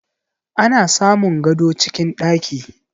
Ana samun gado cikin ɗaki